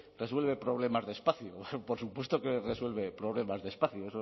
resuelve problemas de espacio por supuesto que resuelve problemas de espacio